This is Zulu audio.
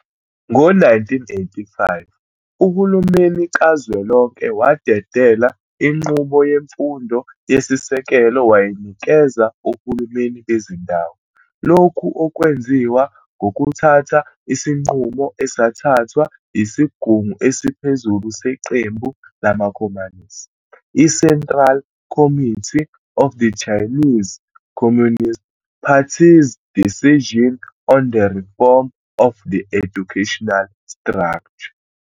Ngo-1985, uhulumeni kazwelonke wadedela inqubo yemfundo yesisekelo wayinikeza ohulumeni bezindawo, lokhu okwenziwa ngokuthatha isinqumo esathathwa yisigungu esiphezulu seqembu lamakhomanisi, i-Central Committee of the Chinese Communist Party's "Decision on the Reform of the Educational Structure."